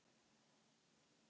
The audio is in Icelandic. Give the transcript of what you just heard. Edda er glaðvöknuð aftur.